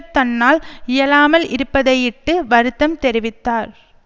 தன்னால் இயலாமல் இருப்பதையிட்டு வருத்தம் தெரிவித்தார்